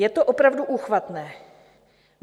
Je to opravdu úchvatné.